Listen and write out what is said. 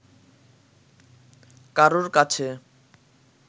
কারুর কাছে